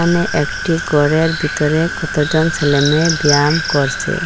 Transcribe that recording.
এখানে একটি গরের বিতরে কতজন ছেলেমেয়ে ব্যাম করছে।